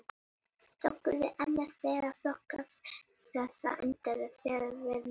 Storkuberg er annars vegar flokkað eftir efnasamsetningu og hins vegar eftir myndunarháttum.